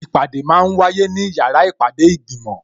Ìpàdé máa ń wáyé ní yàrá ìpàdé ìgbìmò